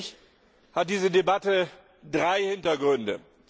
Für mich hat diese Debatte drei Hintergründe.